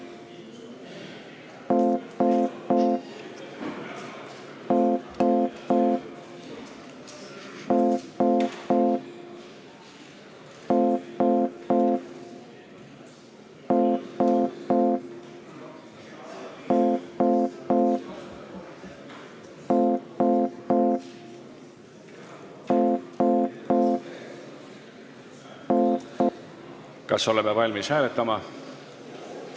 Kas oleme valmis hääletama?